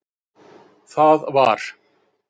Það var